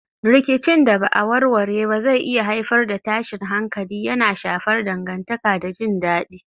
Rikicin da ba a warware ba zai iya haifar da tashin hankali, yana shafar dangantaka da jin dadi.